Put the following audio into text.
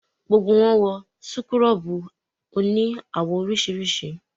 Gbogbo wọn wọ súkúrọ́bù òní àwọ̀ oríṣiríṣi